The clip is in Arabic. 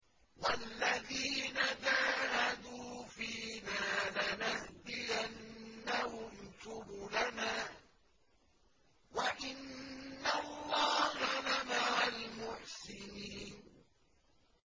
وَالَّذِينَ جَاهَدُوا فِينَا لَنَهْدِيَنَّهُمْ سُبُلَنَا ۚ وَإِنَّ اللَّهَ لَمَعَ الْمُحْسِنِينَ